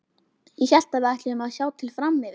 Ég hélt að við ætluðum að sjá til fram yfir.